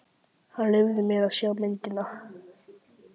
Hann leyfði mér að sjá myndina.